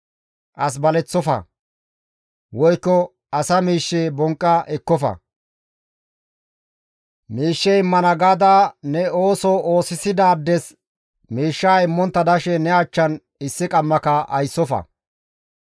« ‹As baleththofa; woykko asa miishshe bonqqa ekkofa; miishshe immana gaada ne ooso oosisidaades miishshaa immontta dashe ne achchan issi qammaka ayssofa.